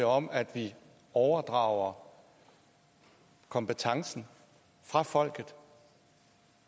om at vi overdrager kompetencen fra folket